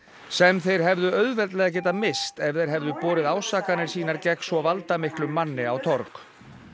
sem þeir hefðu auðveldlega getað misst ef þeir hefðu borið ásakanir sínar gegn svo valdamiklum manni á torg